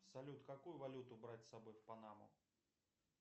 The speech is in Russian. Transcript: салют какую валюту брать с собой в панаму